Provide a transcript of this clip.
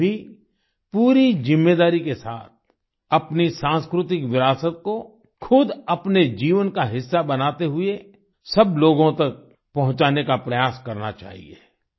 हमें भी पूरी जिम्मेदारी के साथ अपनी सांस्कृतिक विरासत को खुद अपने जीवन का हिस्सा बनाते हुए सब लोगों तक पहुँचाने का प्रयास करना चाहिए